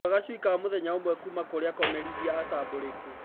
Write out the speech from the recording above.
Gũra gacui ka mũthenya ũmwe kuma kũrĩ akomerithia atambũrĩku.